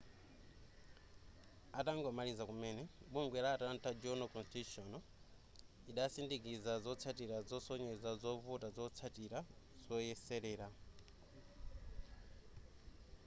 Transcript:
atangomaliza kumene bungwe la atlanta journal-constitution idasindikiza zotsatira zosonyeza zovuta zazotsatira zoyeserera